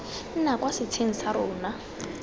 nna kwa setsheng sa rona